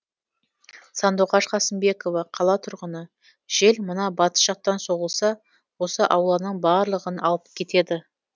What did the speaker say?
сандуғаш қасымбекова қала тұрғыны жел мына батыс жақтан соғылса осы ауланың барлығын алып кетеді